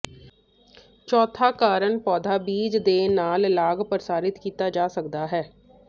ਚੌਥਾ ਕਾਰਨ ਪੌਦਾ ਬੀਜ ਦੇ ਨਾਲ ਲਾਗ ਪ੍ਰਸਾਰਿਤ ਕੀਤਾ ਜਾ ਸਕਦਾ ਹੈ